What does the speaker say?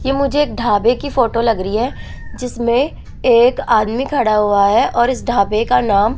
ये मुझे एक ढाबे की फोटो लग रही है जिसमें एक आदमी खड़ा हुआ है और इस ढाबे का नाम --